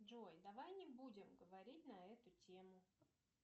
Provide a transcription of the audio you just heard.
джой давай не будем говорить на эту тему